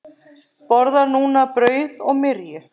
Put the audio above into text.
Borðar núna brauð og myrju.